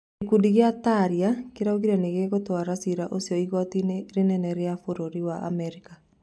Gĩkundi kĩa Taria kĩraugire nĩ gĩgũtwara cira ũcio igooti-inĩ rĩnene rĩa bũrũri wa Amerika.